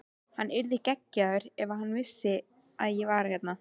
Hann yrði geggjaður ef hann vissi að ég var hérna.